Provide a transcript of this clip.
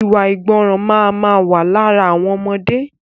Iwa àìgbọràn máa ma wà lára àwọn ọmọdé